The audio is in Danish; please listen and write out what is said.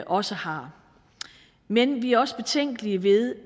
også har men vi er også betænkelige ved